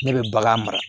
Ne bɛ bagan mara